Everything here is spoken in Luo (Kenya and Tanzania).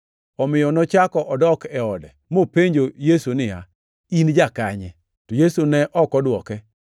omiyo nochako odok e ode, mopenjo Yesu niya, “In jakanye?” To Yesu ne ok odwoke.